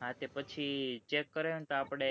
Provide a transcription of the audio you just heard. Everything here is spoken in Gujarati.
હા તે પછી check કર્યા ને તો આપડે